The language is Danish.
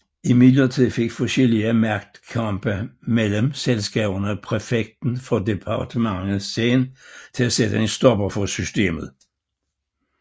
Imidlertid fik forskellige magtkampe mellem selskaberne præfekten for departementet Seine til at sætte en stopper for systemet